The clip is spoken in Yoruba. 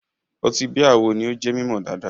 Ọtí bíà wo ni ó jẹ́ mímọ̀ dáadáa?